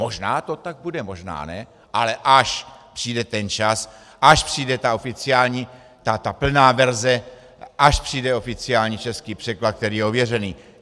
Možná to tak bude, možná ne, ale až přijde ten čas, až přijde ta oficiální, ta plná verze, až přijde oficiální český překlad, který je ověřený.